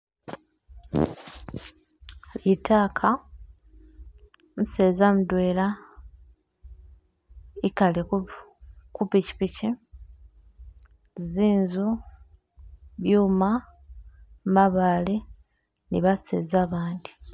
Litaaka, umuseza mutwela ikaale kupikipiki, zinzu, byuma, mabaale ni baseza bandi.